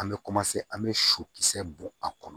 An bɛ an bɛ sɔkisɛ bɔ a kɔnɔ